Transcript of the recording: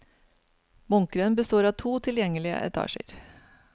Bunkeren består av to tilgjengelige etasjer.